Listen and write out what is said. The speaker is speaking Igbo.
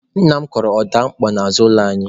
Nna m kọrọ ọda opuo n'azụ ụlọ anyị.